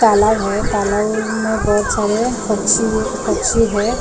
काला है काला हो ओ मे बहुत सारे पक्षी पक्षी हैं पेड़--